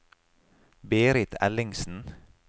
Berit Ellingsen